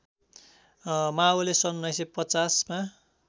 माओले सन् १९५० मा